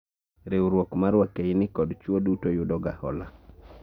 Riwruok mar wakeini kod chwo duto yudo ga hola